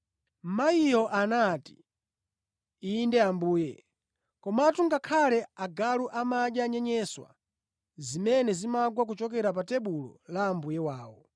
Mayiyo anati, “Inde Ambuye. Komatu ngakhale agalu amadya nyenyeswa zimene zimagwa kuchokera pa tebulo la mbuye wawo.”